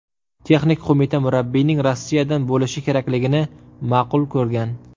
Texnik qo‘mita murabbiyning Rossiyadan bo‘lishi kerakligini ma’qul ko‘rgan.